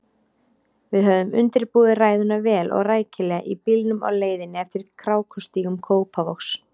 Við höfðum undirbúið ræðuna vel og rækilega í bílnum á leiðinni eftir krákustígum Kópavogs.